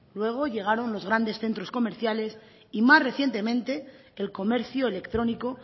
luego llegaron los grandes centros comerciales y más recientemente el comercio electrónico